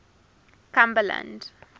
cumberland